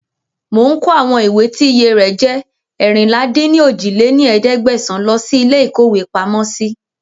Mò ń kó àwọn ìwé tí iye rẹ̀ jẹ́ eérinlá-dín-ní-ojì lé ní ẹ̀ẹ́dẹ́gbẹ́sán lọ síí ilé ìkówepamọ́ si